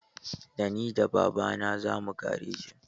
Da ni da babana zamu garejin.